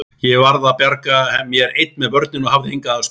Ég varð að bjarga mér ein með börnin og hafði enga aðstoð.